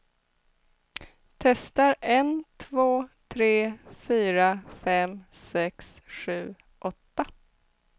Testar en två tre fyra fem sex sju åtta.